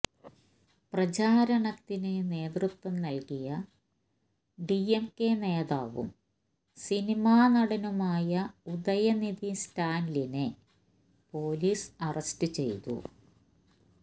പ്രചാരണത്തിന് നേതൃത്വം നൽകിയ ഡിഎംകെ നേതാവും സിനിമാനടനുമായ ഉദയനിധി സ്റ്റാലിനെ പോലീസ് അറസ്റ്റ് ചെയ്തു